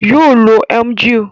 Yoo lo Emgyl.